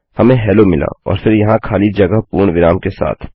हमें हेलो मिला और फिर यहाँ खाली जगह पूर्णविराम के साथ